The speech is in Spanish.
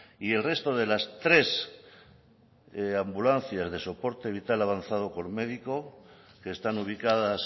y el resto de las tres ambulancias de soporte vital avanzado con médico que están ubicadas